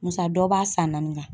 Musa dɔ b'a san naani kan.